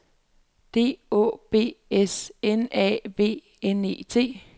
D Å B S N A V N E T